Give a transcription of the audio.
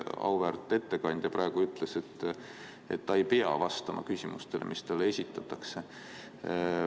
Auväärt ettekandja praegu ütles, et ta ei pea vastama küsimustele, mis talle esitatakse.